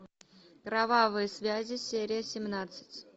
кровавые связи серия семнадцать